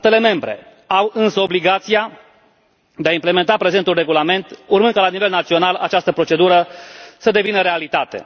Statele membre au însă obligația de a implementa prezentul regulament, urmând ca, la nivel național, această procedură să devină realitate.